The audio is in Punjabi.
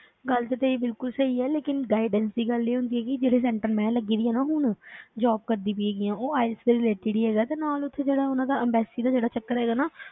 ਗੱਲ ਤਾਂ ਤੇਰੀ ਬਿਲਕੁਲ ਸਹੀ ਹੈ ਲੇਕਿੰਨ guidance ਦੀ ਗੱਲ ਨੀ ਹੁੰਦੀ ਹੈਗੀ ਜਿਹੜੇ center ਮੈਂ ਲੱਗੀ ਦੀ ਹਾਂ ਨਾ ਹੁਣ job ਕਰਦੀ ਪਈ ਹੈਗੀ ਹਾਂ ਉਹ IELTS ਦੇ related ਹੀ ਹੈਗਾ ਤੇ ਨਾਲ ਉੱਥੇ ਜਿਹੜਾ ਉਹਨਾਂ ਦਾ embassy ਦਾ ਜਿਹੜਾ ਚੱਕਰ ਹੈਗਾ ਨਾ,